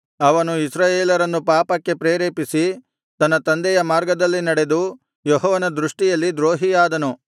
ಅವನು ಇಸ್ರಾಯೇಲರನ್ನು ಪಾಪಕ್ಕೆ ಪ್ರೇರೇಪಿಸಿ ತನ್ನ ತಂದೆಯ ಮಾರ್ಗದಲ್ಲಿ ನಡೆದು ಯೆಹೋವನ ದೃಷ್ಟಿಯಲ್ಲಿ ದ್ರೋಹಿಯಾದನು